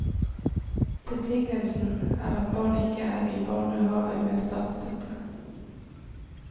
Betingelsen er at barna ikke er i barnehave med statsstøtte.